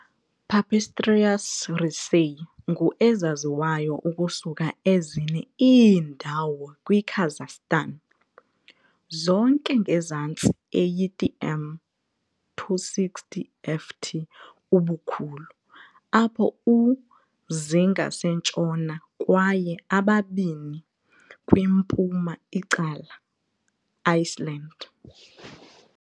"Pipistrellus raceyi" ngu ezaziwayo ukusuka ezine iindawo kwi Kazakhstan, zonke ngezantsi 80 m, 260 ft, ubukhulu, apho u-zi ngasentshona kwaye ababini kwimpuma icala Iceland.